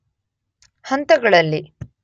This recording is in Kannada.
ಹಂತಗಳಲ್ಲಿ